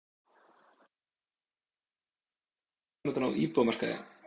Því má spyrja, eru lækkanir framundan á íbúðamarkaði?